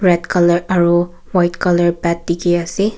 red colour aro white colour bed dikhiase--